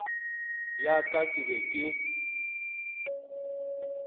ya ka ke be ke